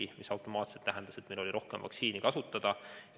See tähendas automaatselt seda, et meil oli rohkem vaktsiini kasutada.